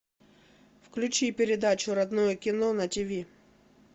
включи передачу родное кино на тв